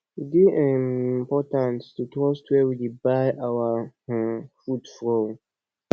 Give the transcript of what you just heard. e dey um important to trust where we dey buy our um food from